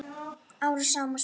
Árum saman? spurði hann.